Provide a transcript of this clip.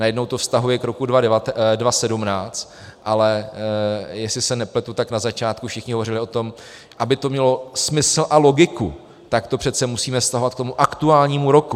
Najednou to vztahuje k roku 2017, ale jestli se nepletu, tak na začátku všichni hovořili o tom, aby to mělo smysl a logiku, tak to přece musíme vztahovat k tomu aktuálnímu roku.